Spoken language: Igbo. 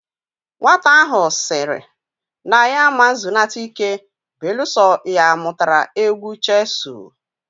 Nwata ahu siri na ya ama zunata ike beeluso ya amutara egwu cheesuu